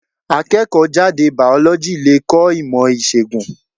Akẹ́kọ̀ọ́ jáde Bàọ́lọ́jì le kọ́ ìmò ìṣègùn.